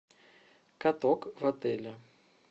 каток в отеле